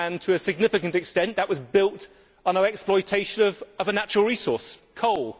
To a significant extent, that was built on our exploitation of a natural resource coal.